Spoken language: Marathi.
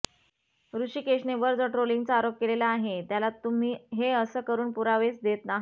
ऋषिकेशने वर जो ट्रोलिंगचा आरोप केलेला आहे त्याला तुम्ही हे असं करून पुरावेच देत आहात